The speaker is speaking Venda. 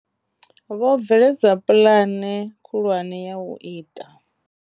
Vho bveledza puḽane khulwane ya u ita.